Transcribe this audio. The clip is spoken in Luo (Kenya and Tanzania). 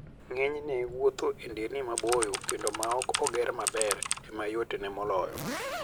Ng'enyne, wuotho e nderni maboyo kendo ma ok oger maber ema yotne moloyo.